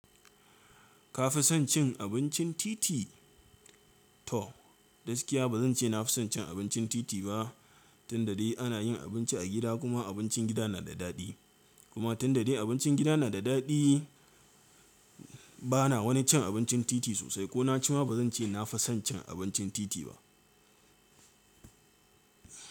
Ka fi son cin abincin titi? To, gaskiya ba zan ce na fi son cin abincin titi ba. Tun da dare ana yin abinci a gida, kuma abincin gida na da daɗi. Kuma tun da dare abincin gida na da daɗi, bana wani cin abincin titi sosai. Ko na ci ma, ba zan ce na fi son cin abincin titi ba.